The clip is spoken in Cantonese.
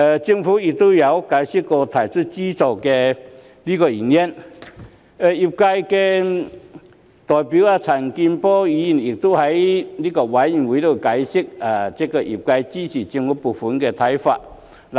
政府曾經解釋提供資助的原因，而業界代表陳健波議員亦在法案委員會上解釋了業界支持政府撥款的看法。